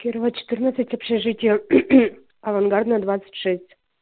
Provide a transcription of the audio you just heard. кирова четырнадцать общежитие авангардная двадцать шесть